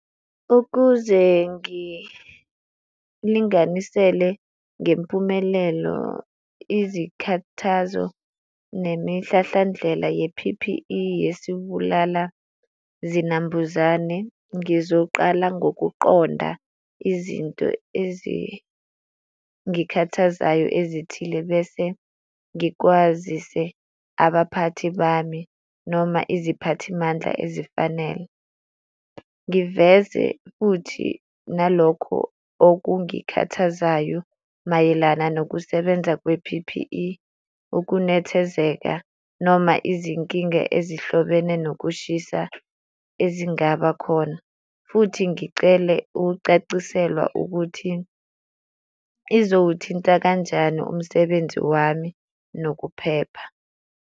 Ukuze ngilinganisele ngempumelelo, izikhathazo nemihlahlandlela ye-P_P_E yesibulala zinambuzane. Ngizoqala ngokuqonda izinto ezingikhathazayo ezithile, bese ngikwazise abaphathi bami noma iziphathimandla ezifanele. Ngiveze futhi nalokho okungikhathazayo mayelana nokusebenza kwe-P_P_E ukunethezeka noma izinkinga ezihlobene nokushisa ezingaba khona. Futhi ngicele ukucaciselwa ukuthi izowuthinta kanjani umsebenzi wami nokuphepha.